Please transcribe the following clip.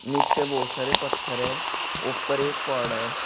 नीचे बहुत सारे पत्थर है ऊपर एक पड़ है।